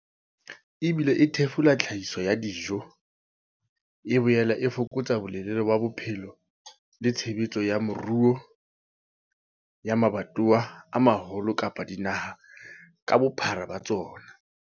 Ebile e thefula tlhahiso ya dijo, e boela e fokotsa bolelele ba bophelo le tshebetso ya moruo ya mabatowa a maholo kapa dinaha ka bophara ba tsona.